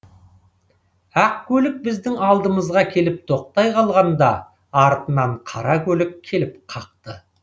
ақ көлік біздің алдымызға келіп тоқтай қалғанда артынан қара көлік келіп қақты